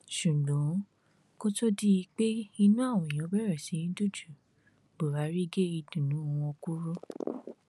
ṣùgbọn kó tóó di pé di pé inú àwọn èèyàn bẹrẹ sí í dùn ju buhari gé ìdùnnú wọn kúrú